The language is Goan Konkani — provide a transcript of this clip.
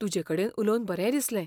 तुजेकडेन उलोवन बरें दिसलें.